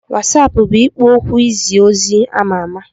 WasaApp bụ ikpo okwu izi ozi ama ama.